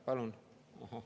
Palun …